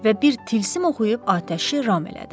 Və bir tilsim oxuyub atəşi ram elədi.